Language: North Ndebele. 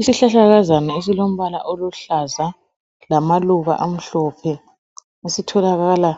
Isihlahlakazana esilombala oluhlaza lamaluba amhlophe, esitholakala